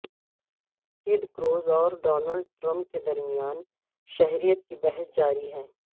ٹیڈ Cruz اور Donald Trump کے درمیان شہریت کی بحث جاری ہے